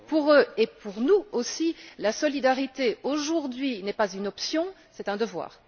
Pour eux et pour nous aussi, la solidarité aujourd'hui n'est pas une option, c'est un devoir.